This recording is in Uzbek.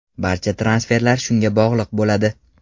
Barcha transferlar shunga bog‘liq bo‘ladi.